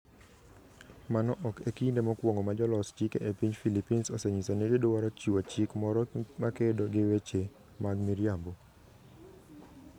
Mano ok e kinde mokwongo ma jolos chike e piny Philippines osenyiso ni gidwaro chiwo chik moro makedo gi weche mag miriambo.